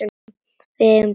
Við eigum barn saman.